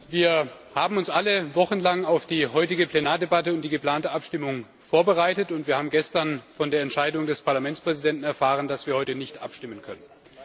Wir haben uns alle wochenlang auf die heutige Plenardebatte und die geplante Abstimmung vorbereitet, und wir haben gestern von der Entscheidung des Parlamentspräsidenten erfahren, dass wir heute nicht abstimmen können.